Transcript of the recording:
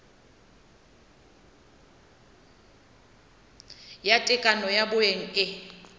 ya tekano ya bong e